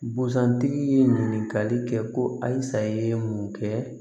Busan tigi ye ɲininkali kɛ ko ayi sa ye mun kɛ